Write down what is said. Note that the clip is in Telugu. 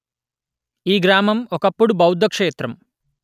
ఈ గ్రామం ఒకప్పుడు బౌద్ధ క్షేత్రం